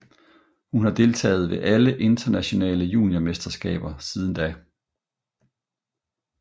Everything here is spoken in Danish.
Hun har deltaget ved alle internationale juniormesterskaber siden da